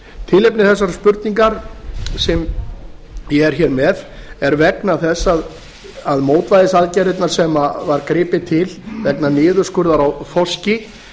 tilefni þessara spurninga sem ég er hér með er vegna þess að mótvægisaðgerðirnar sem var gripið til vegna niðurskurðar á þorski